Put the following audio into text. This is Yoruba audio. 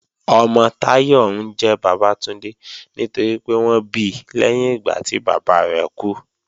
Ọmọ Táyọ̀ ńjẹ́ Bàbátúndé nítorípé wọ́n bi lẹ́yìn ìgbà tí bàbá rẹ̀ kú